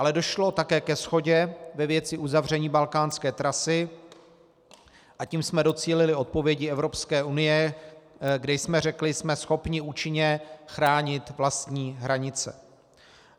Ale došlo také ke shodě ve věci uzavření balkánské trasy, a tím jsme docílili odpovědi Evropské unie, kde jsme řekli "jsme schopni účinně chránit vlastní hranice".